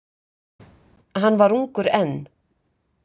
Hann var ungur enn.